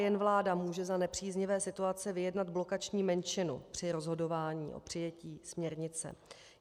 Jen vláda může za nepříznivé situace vyjednat blokační menšinu při rozhodování o přijetí směrnice.